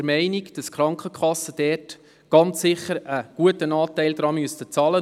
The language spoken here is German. Deshalb müssen die Krankenkassen unserer Meinung nach einen guten Teil davon bezahlen.